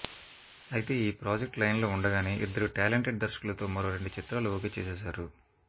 అయితే ఈ project line లో ఉండగానే ఇద్దరు టాలెంటెడ్ దర్శకులుతో మరో రెండు చిత్రాలు ఓకే చేసేసారు